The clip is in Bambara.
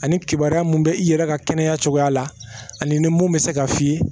Ani kibaruya mun bɛ i yɛrɛ ka kɛnɛya cogoya la ani mun bɛ se ka fiyɛ